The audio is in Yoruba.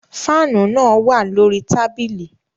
Faanu naa wa lori tabili